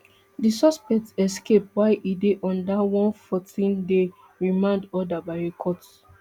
di suspect escape while e dey under onefourteenday remand order by a court